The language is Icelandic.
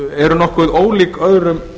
eru nokkuð ólík öðrum